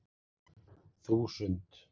þúsund